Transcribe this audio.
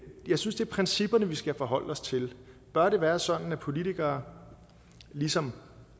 jeg synes det er principperne vi skal forholde os til bør det være sådan at politikere ligesom